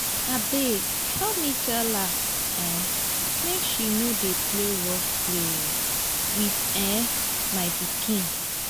abeg help me tell her um make she no dey play rough play um with um my pikin